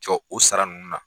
Jɔ o sara ninnu na